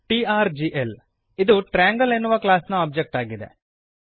TRGL ಇದು triangle ಎನ್ನುವ class ನ ಒಬ್ಜೆಕ್ಟ್ ಆಗಿದೆ